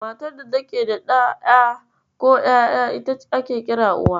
Matar da take da ɗa, ƴa, ko ƴaƴa, ita ake kira Uwa.